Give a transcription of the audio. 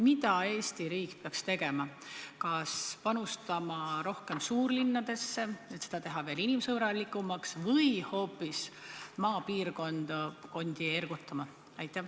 Mida Eesti riik peaks tegema, kas panustama rohkem suurlinnadesse, et teha neid veel inimsõbralikumaks, või hoopis maapiirkondi ergutama?